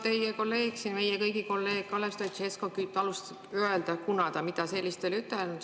Teie kolleeg siin, meie kõigi kolleeg Kalev Stoicescu ütles, et ta midagi sellist ei ole ütelnud.